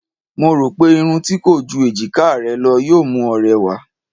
Mo rò pé irun tí kò ju èjiká rẹ lọ yóò mú ọ rẹwà.